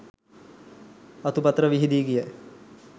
අතු පතර විහිදි ගිය